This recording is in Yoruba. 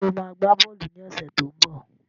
Sọ ma gbá bọ́ọ̀lù ní ọ̀sẹ̀ tó ń bọ̀?